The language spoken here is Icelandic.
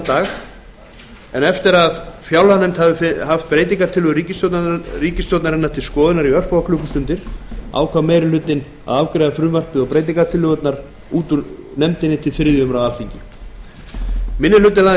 dag eftir að fjárlaganefnd hafði haft breytingartillögur ríkisstjórnarinnar til skoðunar í örfáar klukkustundir ákvað meiri hluti nefndarinnar að afgreiða frumvarpið og breytingartillögurnar úr nefndinni til þriðju umræðu minni hlutinn